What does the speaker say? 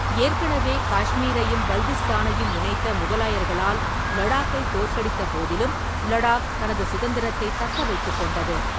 ஏற்கனவே காஷ்மீரையும் பல்திஸ்தானையும் இணைத்த முகலாயர்களால் லடாக்கை தோற்கடித்த போதிலும், லடாக் தனது சுதந்திரத்தைத் தக்க வைத்துக் கொண்டது.